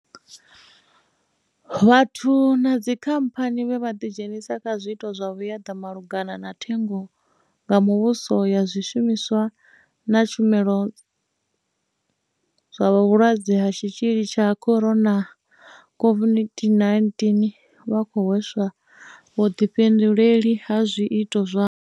Vhathu na dzikhamphani vhe vha ḓidzhenisa kha zwiito zwa vhuaḓa malugana na thengo nga muvhuso ya zwishumiswa na tshumelo zwa Vhulwadze ha Tshitzhili tsha Corona, COVID-19 vha khou hweswa vhuḓifhinduleli ha zwiito zwavho.